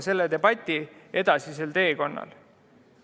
... selle debati edasisel teekonnal.